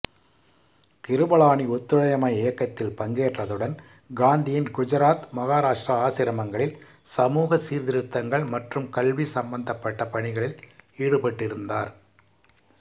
கிருபளானி ஒத்துழையாமை இயக்கத்தில் பங்கேற்றதுடன் காந்தியின் குஜராத் மகாராஷ்டிரா ஆசிரமங்களில் சமுக சீர்திருத்தங்கள் மற்றும் கல்வி சம்பந்தப்பட்ட பணிகளில் ஈடுபட்டிருந்தார்